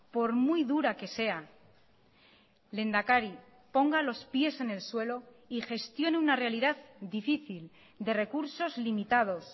por muy dura que sea lehendakari ponga los pies en el suelo y gestione una realidad difícil de recursos limitados